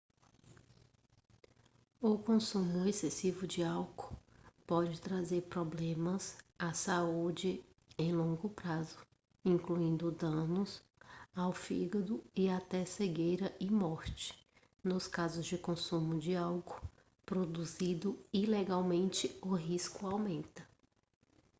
o consumo excessivo de álcool pode trazer problemas a saúde em longo prazo incluindo danos ao fígado e até cegueira e morte nos casos de consumo de álcool produzido ilegalmente o risco aumenta